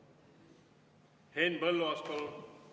Henn Põlluaas, palun!